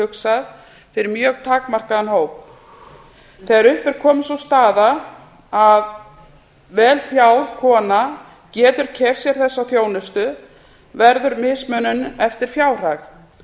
hugsað fyrir mjög takmarkaðan hóp þegar upp er komin sú staða að vel fjáð kona getur keypt sér þessa þjónustu verður mismunun eftir fjárhag